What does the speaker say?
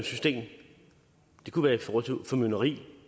system det kunne være i forhold til formynderi